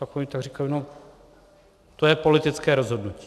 Tak oni tak říkali no, to je politické rozhodnutí.